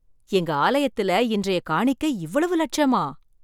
எங்க ஆலயத்தில இன்றைய காணிக்கை இவ்வளவு லட்சமா!